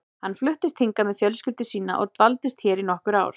Hann fluttist hingað með fjölskyldu sína og dvaldist hér í nokkur ár.